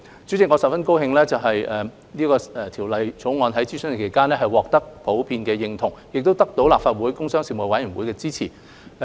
主席，我十分高興《條例草案》在諮詢期間獲得普遍認同，亦得到立法會工商事務委員會的支持。